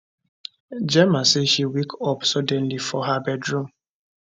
gemma say she wake up suddenly for her bedroom